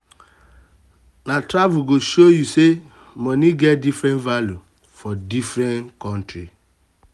um na travel go show you say money get different value for different country.